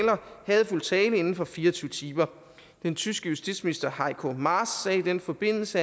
hadefuld tale inden for fire og tyve timer den tyske justitsminister heiko maas sagde i den forbindelse